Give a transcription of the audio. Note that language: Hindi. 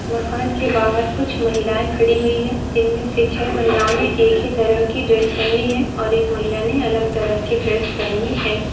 मकान के बाहर कुछ महिलाए खड़ी हुई है जिनमे से छे महिलाओं ने एक ही तरह की ड्रेस पहनी है और एक महिलाने अलग तरह की ड्रेस पहनी है।